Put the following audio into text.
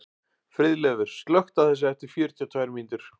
Friðleifur, slökktu á þessu eftir fjörutíu og tvær mínútur.